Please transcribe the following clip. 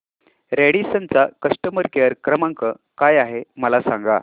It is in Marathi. रॅडिसन चा कस्टमर केअर क्रमांक काय आहे मला सांगा